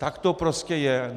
Tak to prostě je.